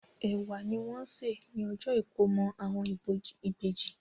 Ẹ̀wà ni wọ́n sè ní ọjọ́ ìkómọ àwọn ìbejì.